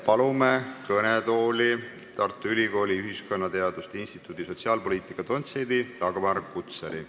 Palume kõnetooli Tartu Ülikooli ühiskonnateaduste instituudi sotsiaalpoliitika dotsendi Dagmar Kutsari.